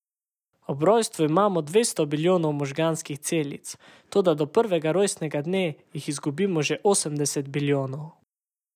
Ob rojstvu imamo dvesto bilijonov možganskih celic, toda do prvega rojstnega dne jih izgubimo že osemdeset bilijonov.